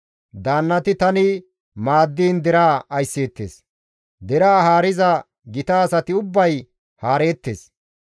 Daannati tani maaddiin deraa aysseettes; deraa haariza gita asati ubbay haareettes.